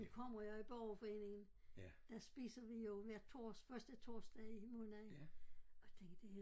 Nu kommer jeg i borgerforeningen der spiser vi jo hver første torsdag i måneden og jeg tænkte det